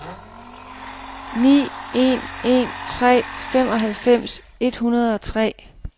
ni en en tre femoghalvfems et hundrede og tre